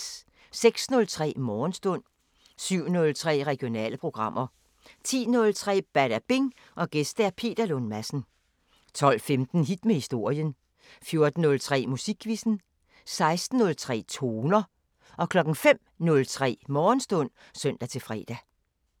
06:03: Morgenstund 07:03: Regionale programmer 10:03: Badabing: Gæst Peter Lund Madsen 12:15: Hit med historien 14:03: Musikquizzen 16:03: Toner 05:03: Morgenstund (søn-fre)